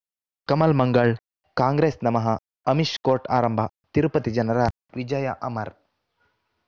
ಕಮಲ್ ಮಂಗಳ್ ಕಾಂಗ್ರೆಸ್ ನಮಃ ಅಮಿಷ್ ಕೋರ್ಟ್ ಆರಂಭ ತಿರುಪತಿ ಜನರ ವಿಜಯ ಅಮರ್